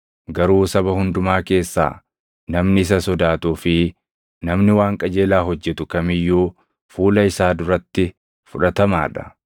Garuu saba hundumaa keessaa namni isa sodaatuu fi namni waan qajeelaa hojjetu kam iyyuu fuula isaa duratti fudhatamaa dha.